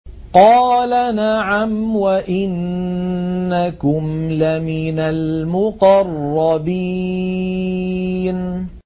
قَالَ نَعَمْ وَإِنَّكُمْ لَمِنَ الْمُقَرَّبِينَ